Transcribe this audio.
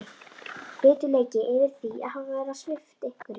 Biturleiki yfir því að hafa verið svipt einhverju.